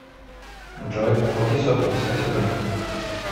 джой оплати сотовую связь абонента